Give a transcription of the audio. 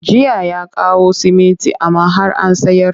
Jiya ya kawo siminti amma har an sayar